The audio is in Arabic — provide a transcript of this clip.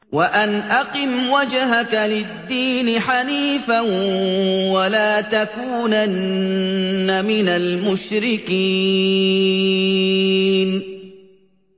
وَأَنْ أَقِمْ وَجْهَكَ لِلدِّينِ حَنِيفًا وَلَا تَكُونَنَّ مِنَ الْمُشْرِكِينَ